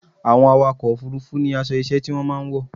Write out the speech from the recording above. Àwọn awakọ̀ òfurufú ní aṣọ iṣẹ́ tí wọ́n máa ń wọ̀.